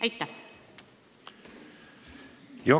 Aitäh!